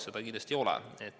Nii see kindlasti ei ole.